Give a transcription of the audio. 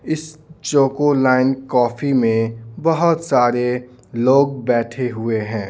इस choco line coffee में बहुत सारे लोग बैठे हुए हैं।